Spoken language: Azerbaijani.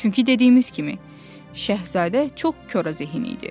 Çünki dediyimiz kimi, Şəhzadə çox korazehin idi.